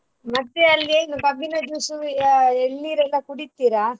ಮತ್ತೆ ಅಲ್ಲಿ ಏನು ಕಬ್ಬಿನ juice ಆ ಎಳ್ನೀರೆಲ್ಲ ಕುಡಿತಿರಾ?